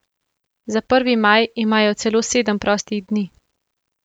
Za prvi maj imajo celo sedem prostih dni.